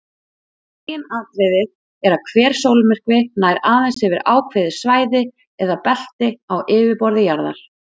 Meginatriðið er að hver sólmyrkvi nær aðeins yfir ákveðið svæði eða belti á yfirborði jarðar.